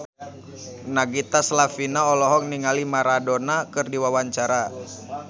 Nagita Slavina olohok ningali Maradona keur diwawancara